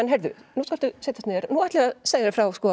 nú skaltu setjast niður nú ætla ég að segja þér frá